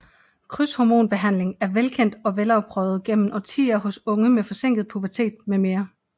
Krydshormonbehandling er velkendt og velafprøvet gennem årtier hos unge med forsinket pubertet mm